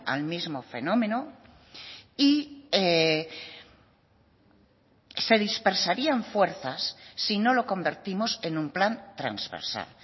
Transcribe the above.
al mismo fenómeno y se dispersarían fuerzas si no lo convertimos en un plan transversal